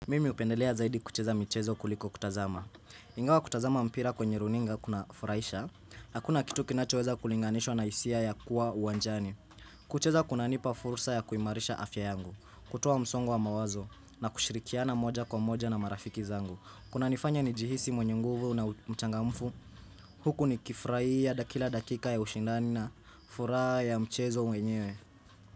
Mimi hupendelea zaidi kucheza michezo kuliko kutazama. Ingawa kutazama mpira kwenye runinga kuna furahisha, hakuna kitu kinachoweza kulinganishwa na hisia ya kuwa uwanjani. Kucheza kunanipa fursa ya kuimarisha afya yangu, kutoa msongo wa mawazo, na kushirikiana moja kwa moja na marafiki zangu. Kunanifanya nijihisi mwenye nguvu na mchangamfu. Huku nikifurahia daki kila dakika ya ushindani na furaha ya mchezo mwenyewe.